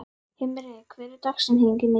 Himri, hver er dagsetningin í dag?